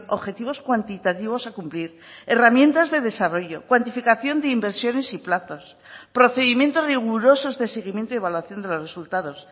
objetivos cuantitativos a cumplir herramientas de desarrollo cuantificación de inversiones y plazos procedimientos rigurosos de seguimiento y evaluación de los resultados